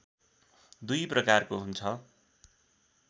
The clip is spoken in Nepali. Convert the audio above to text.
दुई प्रकारको हुन्छ